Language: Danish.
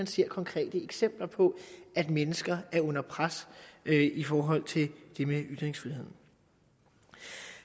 ser konkrete eksempler på at mennesker er under pres i forhold til det med ytringsfriheden